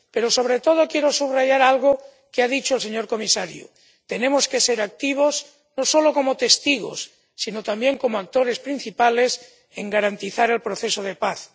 Pero sobre todo quiero subrayar algo que ha dicho el señor comisario tenemos que ser activos, no solo como testigos sino también como actores principales, en garantizar el proceso de paz.